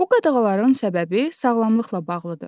Bu qadağaların səbəbi sağlamlıqla bağlıdır.